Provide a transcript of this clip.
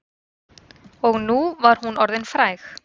Og nú var hún orðin fræg.